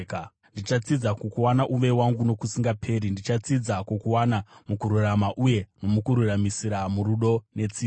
Ndichatsidza kukuwana uve wangu nokusingaperi; ndichatsidza kukuwana mukururama uye nomukururamisira, murudo netsitsi.